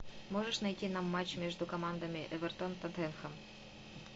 можешь найти нам матч между командами эвертон тоттенхэм